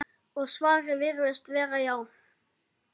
Og svarið virðist vera: já.